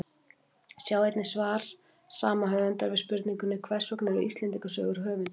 Sjá einnig svar sama höfundar við spurningunni Hvers vegna eru Íslendingasögur höfundarlausar?